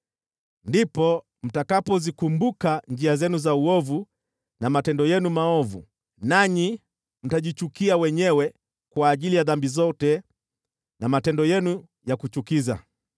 Ndipo mtakapozikumbuka njia zenu za uovu na matendo yenu maovu, nanyi mtajichukia wenyewe kwa ajili ya dhambi zote na matendo yenu ya kuchukiza.